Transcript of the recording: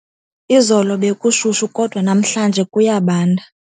Izolo bekushushu kodwa namhlanje kuyabanda.